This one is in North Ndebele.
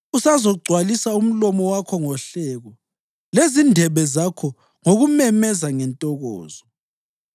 Usazogcwalisa umlomo wakho ngohleko lezindebe zakho ngokumemeza ngentokozo.